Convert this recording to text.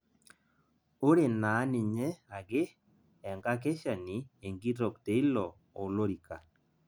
Ore naa ninye ake enkakeshani enkitok teilo olorika